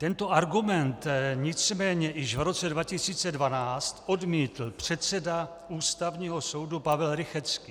Tento argument nicméně již v roce 2012 odmítl předseda Ústavního soudu Pavel Rychetský.